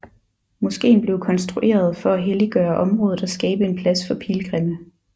Moskeen blev konstrueret for at helliggøre området og skabe en plads for pilgrimme